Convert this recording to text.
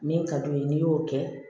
Min ka d'u ye n'i y'o kɛ